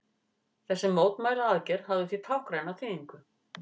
Þessi mótmælaaðgerð hafði því táknræna þýðingu